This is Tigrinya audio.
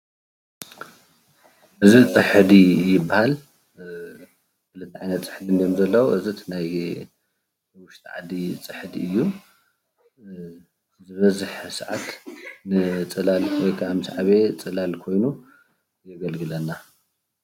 እዚ ፅሕዲ ይበሃል ። ክልተ ዓይነት ፅሕዲ እዮም ዘለው እዚ ናይ ወሽጢ ዓዲ ፅሕዲ እዩ። መብዛሕትኡ ሰዓት ግዜ ንፅላል ይጠቅመና።